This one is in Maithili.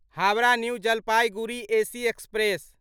Howrah new Jalpaiguri AC express